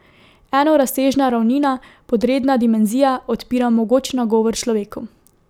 Enorazsežna ravnina, podredna dimenzija, odpira mogoč nagovor človeku.